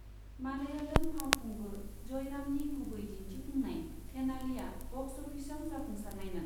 मालयालम फावखुंगुर जयरामनि गुबै दिन्थिफुंनाय थेनालीआ बक्स अफिसआव जाफुंसारनायमोन।